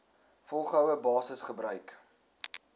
volgehoue basis gebruik